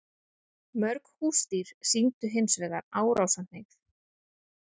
Mörg húsdýr sýndu hins vegar árásarhneigð.